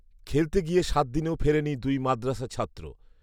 খেলতে গিয়ে সাতদিনেও ফেরেনি দুই মাদ্রাসা ছাত্র